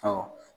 Ɔ